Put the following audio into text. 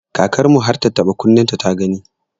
Kakar mu har tattaɓa kunnenta ta gani.